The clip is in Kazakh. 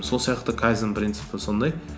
сол сияқты кайдзенннің принципі сондай